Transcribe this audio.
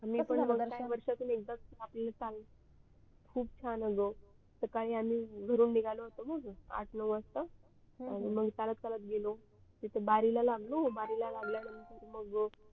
खूप छान आलो सकाळी आम्ही घरून निघालो होतो मग आठ नऊ वाजता मग चालत चालत गेलो तिथ बारी ल लागलो बारी ला लागल्यानंतर